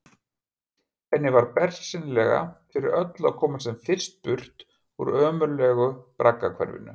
Henni var bersýnilega fyrir öllu að komast sem fyrst burt úr ömurlegu braggahverfinu.